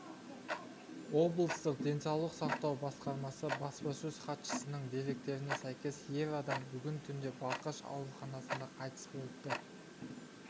облыстық денсаулық сақтау басқармасы баспасөз хатшысының деректеріне сәйкес ер адам бүгін түнде балқаш ауруханасында қайтыс болыпты